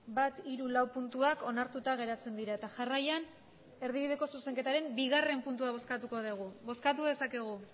bat hiru lau puntuak onartuta geratzen dira eta jarraian erdibideko zuzenketaren bigarrena puntua bozkatuko dugu bozkatu dezakegu